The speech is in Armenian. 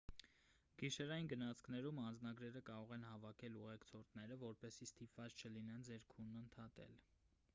գիշերային գնացքներում անձնագրերը կարող է հավաքել ուղեկցորդը որպեսզի ստիպված չլինեք ձեր քունն ընդհատել